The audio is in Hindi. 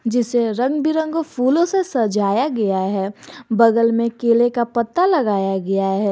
जिसे रंग बिरंगो फूलों से सजाया गया है बगल में केले का पत्ता लगाया गया है।